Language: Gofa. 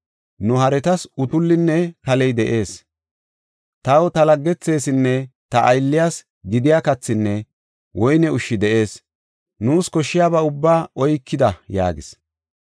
Nu haretas utullinne kaley de7ees; taw, ta laggethesinne ta aylliyas gidiya kathinne woyne ushshi de7ees; nuus koshshiyaba ubbaa oykida” yaagis.